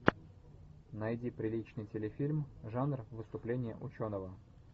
найди приличный телефильм жанр выступление ученого